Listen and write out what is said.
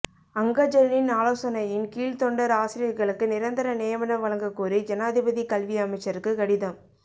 அங்கஜனின் ஆலோசனையின் கீழ் தொண்டர் ஆசிரியர்களுக்கு நிரந்தர நியமனம் வழங்கக்கோரி ஜனாதிபதி கல்வி அமைச்சருக்கு கடிதம்